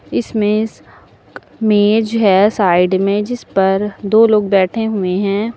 इसमें मेज है साइड में जिस पर दो लोग बैठे हुए हैं।